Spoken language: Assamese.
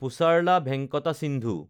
পুছাৰলা ভেংকাটা সিন্ধু